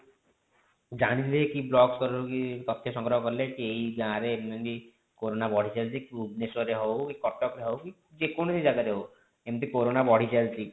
ଜାଣି ଦେଲେ କି block ସ୍ତର ରୁ କି ତଥ୍ୟ ସଂଗ୍ରହ କଲେ କି ଏଇ ଗାଁ ରେ ଏମିତି କୋରୋନା ବଢି ଚାଲିଛି ବୁବନେଶ୍ବର ରେ ହୋଉ କି କଟକ ରେ ହୋଉ କି ଯେ କୌଣସି ଜାଗା ରେ ହୋଉ ଏମିତି କୋରୋନା ବଢି ଚାଲିଛି